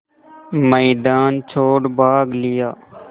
मैदान छोड़ भाग लिया